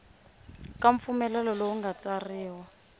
ka mpfumelelo lowu nga tsariwa